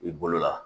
I bolo la